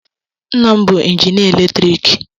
Nna m bụ injinịa eletriki.